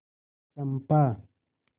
चंपा